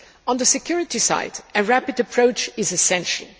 On the security side, a rapid approach is essential.